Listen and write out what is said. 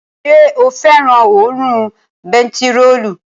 Ṣé o fẹ́ràn òórùn bentiróòlù?